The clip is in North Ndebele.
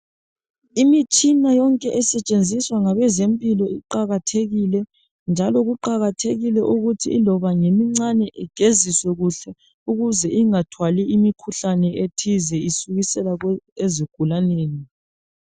Imitshina esetshenziswa ngabezempilo kuqakathekile ukuthi loba ingemincani igeziswe kuhle ukuze ingathwali imikhuhlane ethize isukisela ezigulanini